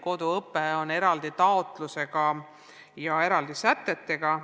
Koduõpe on eraldi taotluse ja eraldi sätetega.